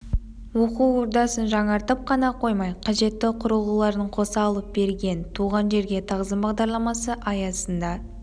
оқу ордасын жаңартып қана қоймай қажетті құрылғыларын қоса алып берген туған жерге тағзым бағдарламасы аясында